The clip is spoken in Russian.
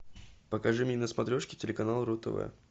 покажи мне на смотрешке телеканал ру тв